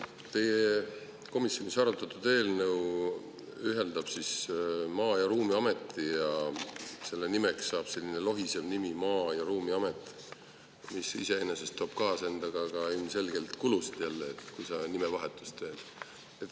Teie komisjonis arutatud eelnõu ühendab Maa- ameti ruumi ning selle nimeks saab selline lohisev nimi – Maa- ja Ruumiamet –, mis iseenesest toob endaga ilmselgelt kaasa kulusid, kui nimevahetus tehakse.